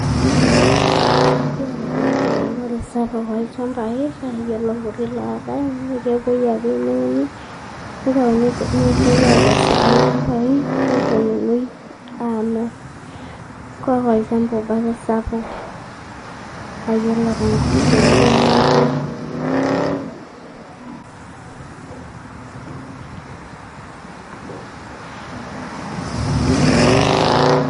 Mikiata yiook ewunore sapuk olchambai kake wore ilkuti lotai kepuoi ake newuni nepuoi akesu tolchambai neponunui amir enaa olchamba ake obo sapuk nayiolo temurua natii